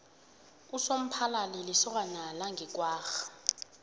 usomphalali yikosana yange kwagga